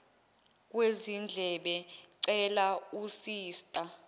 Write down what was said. kwezindlebe cela usista